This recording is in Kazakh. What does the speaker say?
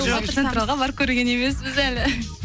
барып көрген емеспіз әлі